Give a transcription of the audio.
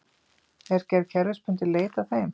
Er gerð kerfisbundinn leit að þeim